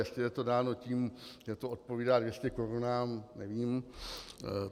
Jestli je to dáno tím, že to odpovídá 200 korun, nevím.